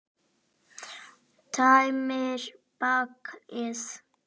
Tæmir bakið.